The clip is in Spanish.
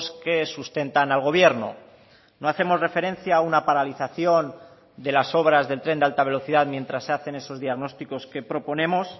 que sustentan al gobierno no hacemos referencia a una paralización de las obras del tren de alta velocidad mientras se hacen esos diagnósticos que proponemos